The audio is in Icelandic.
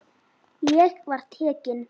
Ég var tekinn inn.